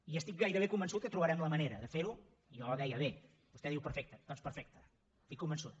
i estic gairebé convençut que trobarem la manera de fer ho jo deia bé vostè diu perfecte doncs perfecte n’estic convençut